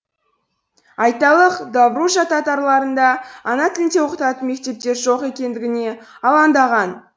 айталық добружа татарларында ана тілінде оқытатын мектептер жоқ екендігіне алаңдаған